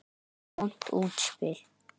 Vont útspil.